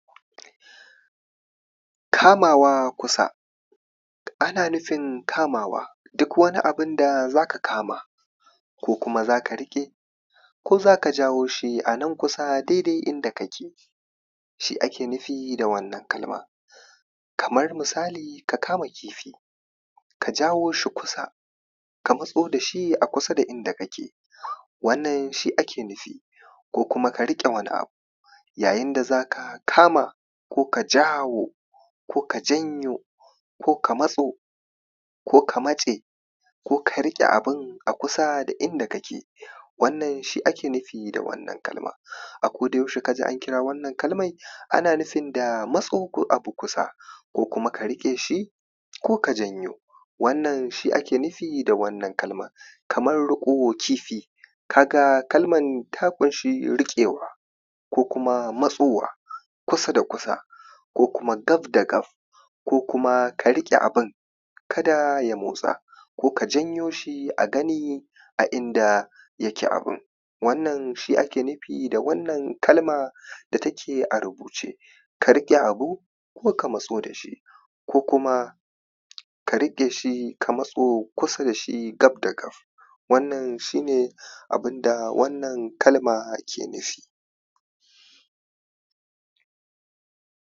kamawa kusa, ana nufin kamawa, duk wani abun da za ka kama ko kuma za ka riƙe ko za ka jawo shi a nan kusa daidai inda kake. Shi ake nufi da wannan kalmar kamar misali ka kama kifi, ka jawo shi a kusa, ka matso da shi a kusa da inda kake wannan ʃi ake nufi. Ko kuma ka riƙe wani abu, yayin da za ka za ka kama ko jawo, ko ka janyo ko ka matso ko ka matse ko ka riƙe abun a kusa da inda kake. Wannan ʃi ake nufi da wannan kalmar. A kodayaushe ka ji an kira wannan kalmai ana nufin da matso da abu kusa ko kuma ka rike shi ko ka janyo, wannan shi ake nufi da wannan kalma. Kamar riƙo kifi ka ga kalman ta kunshi riƙewa ko kuma matsowa kusa da kusa ko kuma gaf da gaf ko kuma ka riƙe abun kada ya motsa ko ka janyo shi a gani, a inda yake abun. Wannan shi ake nufi da wannan kalma, da take a rubuce ka rike abu ko ka matso da shi ko kuma ka rike shi ka matso kusa da sh gaf da gaf. Wannan shi ne abun da wannan kalma ke nufi.